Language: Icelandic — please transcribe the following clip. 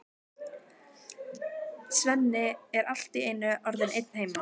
Svenni er allt í einu orðinn einn heima!